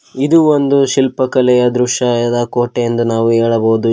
ಇದು ಒಂದು ಶಿಲ್ಪ ಕಲೆಯ ದೃಶ್ಯ ಐರಾಕೋಟೆ ಎಂದು ನಾವು ಹೇಳಬಹುದು ಇಲ್--